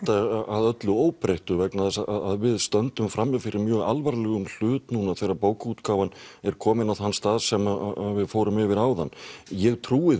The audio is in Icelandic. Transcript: að öllu óbreyttu vegna þess að við stöndum frammi fyrir mjög alvarlegum hlut núna þegar bókaútgáfan er komin á þann stað sem við fórum yfir áðan ég trúi